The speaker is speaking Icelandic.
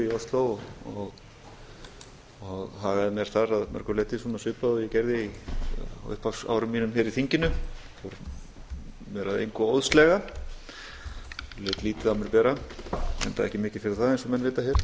í síðustu viku í ósló og hagaði mér þar að mörgu leyti svona svipað og ég gerði á upphafsárum mínum hér í þinginu fór mér að engu óðslega lét lítið á mér bera enda ekki mikið fyrir það eins og menn vita